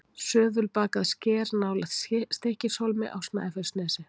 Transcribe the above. Söðulbakað sker nálægt Stykkishólmi á Snæfellsnesi.